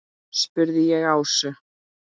spurði ég Ásu.